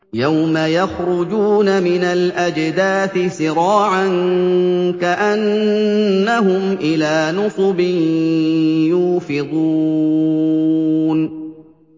يَوْمَ يَخْرُجُونَ مِنَ الْأَجْدَاثِ سِرَاعًا كَأَنَّهُمْ إِلَىٰ نُصُبٍ يُوفِضُونَ